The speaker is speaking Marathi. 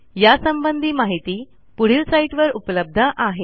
यासंबंधी माहिती पुढील साईटवर उपलब्ध आहे